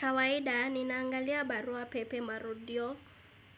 Kawaida, ninaangalia barua pepe marudio